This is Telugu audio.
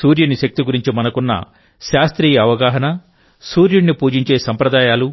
సూర్యుని శక్తి గురించి మనకున్న శాస్త్రీయ అవగాహన సూర్యుడిని పూజించే సంప్రదాయాలు